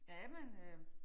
Jamen øh